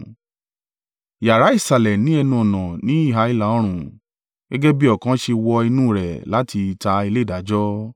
Yàrá ìsàlẹ̀ ni ẹnu-ọ̀nà ní ìhà ìlà-oòrùn gẹ́gẹ́ bí ọ̀kan ṣe wọ inú rẹ̀ láti ìta ilé ìdájọ́.